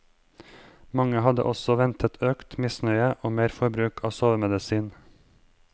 Man hadde også ventet økt misnøye og mer forbruk av sovemedisin.